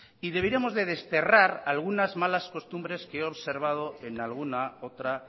y deberíamos de desterrar algunas malas costumbres que he observado en alguna otra